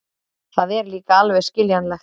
Það er líka alveg skiljanlegt.